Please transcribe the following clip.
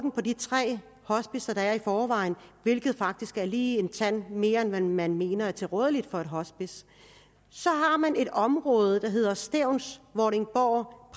på de tre hospicer der er i forvejen hvilket faktisk er lige en tand mere end man mener er tilrådeligt for et hospice så har man et område som hedder stevns vordingborg